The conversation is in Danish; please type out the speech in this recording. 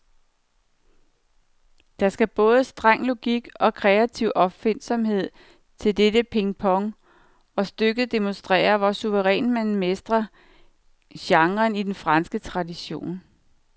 Der skal både streng logik og kreativ opfindsomhed til dette pingpong, og stykket demonstrerer, hvor suverænt man mestrer genren i den franske tradition.